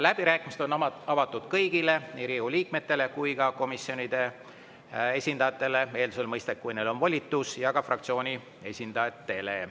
Läbirääkimised on avatud kõigile, nii Riigikogu liikmetele kui ka komisjonide esindajatele – mõistagi eeldusel, et neil on volitus – ja fraktsioonide esindajatele.